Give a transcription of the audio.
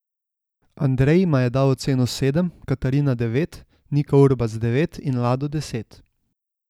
Andrej jima je dal oceno sedem, Katarina devet, Nika Urbas devet in Lado deset.